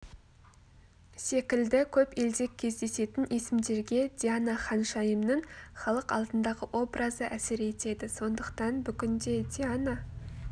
секілді көп елде кездесетін есімдерге диана ханшайымның халық алдындағы образы әсер етеді сондықтан бүгінде диана